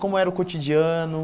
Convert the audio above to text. Como era o cotidiano?